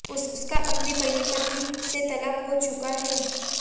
उसका अपनी पहली पत्नी से तलाक हो चुका है